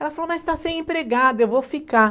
Ela falou, mas está sem empregada, eu vou ficar.